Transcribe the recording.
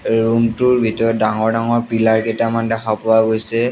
এই ৰুমটোৰ ভিতৰত ডাঙৰ ডাঙৰ পিলাৰ কেইটামান দেখা পোৱা গৈছে।